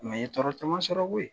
n ye tɔɔrɔ caman sɔrɔ koyi